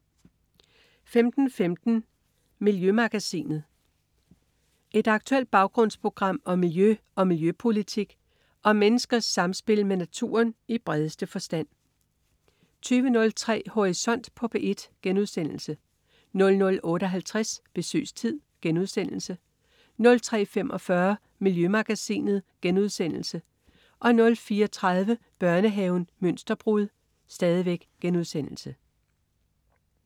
15.15 Miljømagasinet. Et aktuelt baggrundsprogram om miljø og miljøpolitik og om menneskers samspil med naturen i bredeste forstand 20.03 Horisont på P1* 00.58 Besøgstid* 03.45 Miljømagasinet* 04.30 Børnehaven Mønsterbrud*